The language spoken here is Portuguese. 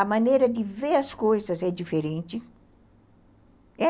A maneira de ver as coisas é diferente.